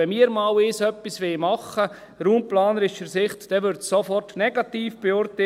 Wenn wir einmal etwas machen wollen, würde es aus raumplanerischer Sicht sofort negativ beurteilt.